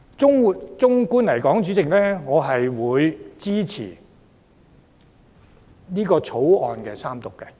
主席，整體來說，我支持《條例草案》三讀。